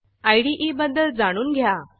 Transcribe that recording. इदे बद्दल जाणून घ्या